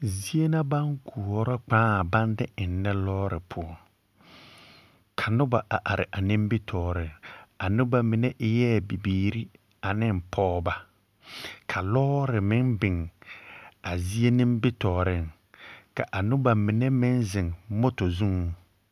pɔgeba ane dɔba na laŋ taa kyɛ biŋ kũũ daga a ba nimitɔɔre ka polisiri poɔ ba poɔ. Ka apolisiri mine gba zupilpeɛl, ka ba mine gba zupilsɔgelɔ kyɛ ka absu kaaya sɔgelɔ. kyɛ ka a dɔ2 kaŋ de o gbɛ duni a gab teŋɛ soga.